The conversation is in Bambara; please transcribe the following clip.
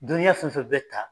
Dɔnniya fɛn fɛn bɛ ta